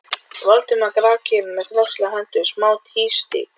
Valdimar grafkyrr með krosslagðar hendur, Smári tvístíg